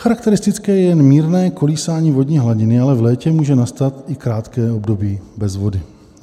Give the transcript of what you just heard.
Charakteristické je jen mírné kolísání vodní hladiny, ale v létě může nastat i krátké období bez vody.